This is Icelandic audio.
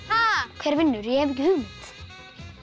hver vinnur ég hef ekki hugmynd